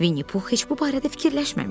Vinni Pux heç bu barədə fikirləşməmişdi.